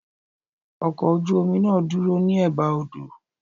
Ọkọ̀ ojú omi náà dúró ní Ẹ̀ba odò.